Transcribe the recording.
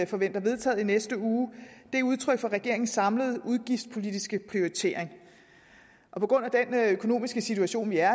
forventer vedtaget i næste uge er udtryk for regeringens samlede udgiftspolitiske prioriteringer og på grund af den økonomiske situation vi er